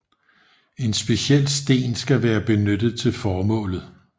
En speciel sten skal være benyttet til formålet